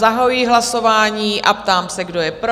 Zahajuji hlasování a ptám se, kdo je pro?